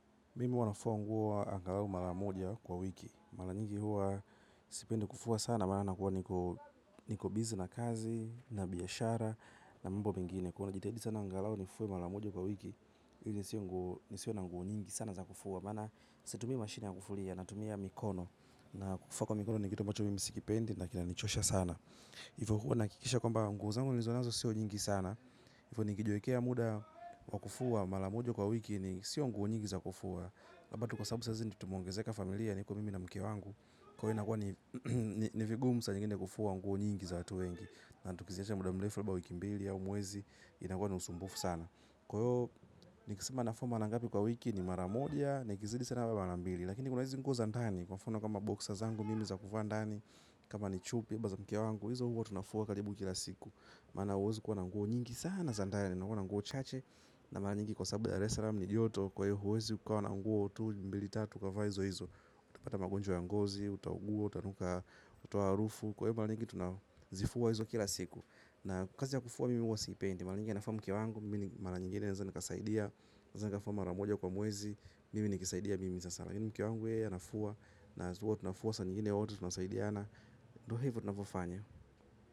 Mimi huwa nafua nguo angalau mara moja kwa wiki. Mara nyingi huwa sipendi kufua sana. Mimi huwa nafua nguo angalau mara moja kwa wiki. Mara nyingi huwa sipendi kufua sana. Huwa najitahidi sana angalau nifue mara moja kwa wiki ili nisiwe nguo nisiwe na nguo nyingi sana za kufua. Maana situmii mashini ya kufulia natumia mikono. Na kufua kwa mikono ni kitu ambacho mimi sikipendi na kinanichosha sana. Hivo kuwa nahakikisha kwamba nguo zangu nilizo nazo sio nyingi sana. Hivo nikijiwekea muda wa kufua mara moja kwa wiki ni sio nguo nyingi za kufua hapa tu kwa sababu sasa ndio tumeongezeka familia niko mimi na mke wangu kwa hiyo inakuwa ni ni vigumu saa zingine kufua nguo nyingi za watu wengi na tukiziacha muda mrefu labda wiki wiki mbili au mwezi inakuwa na usumbufu sana kwa hiyo nikisema nafua mara ngapi kwa wiki ni mara moja na ikizidi sana ama mara mbili lakini kuna hizi nguo za ndani kwa mfano kama boksa zangu mimi za kuvaa ndani kama ni chupi ambazo mke wangu hizo huwa tunafua karibu kila siku maana huezi kuwa na nguo nyingi sana za ndani unakuwa na nguo chache mara nyingi kwa sababu ya resalam huwezi ukawa na nguo mbili tatu ukavaa hizo hizo utapata magonjwa ya ngozi, utaugua, utanuka, kutoa harufu kwa hivo tunazifua kila siku kazi ya kufua mimi sipendi. Hivo nikijiwekea muda wa kufua mara moja kwa wiki ni sio nguo nyingi za kufua hapa tu kwa sababu ndio sasa tumeongezeka familia niko mimi na mke wangu kuwa inakuwa ni ni vigumu saa zingine kufua nguo nyingi za watu wengi na tukiziacha muda mrefu labda wiki.